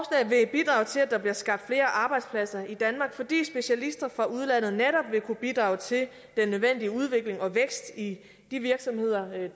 se at der bliver skabt flere arbejdspladser i danmark fordi specialister fra udlandet netop vil kunne bidrage til den nødvendige udvikling og vækst i de virksomheder